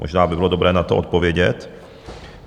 Možná by bylo dobré na to odpovědět.